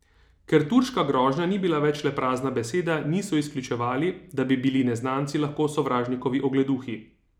Ker turška grožnja ni bila več le prazna beseda, niso izključevali, da bi bili neznanci lahko sovražnikovi ogleduhi.